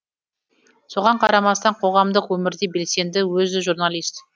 соған қарамастан қоғамдық өмірде белсенді өзі журналист